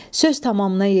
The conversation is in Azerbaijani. Söz tamama yetdi.